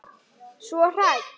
Svo hrædd.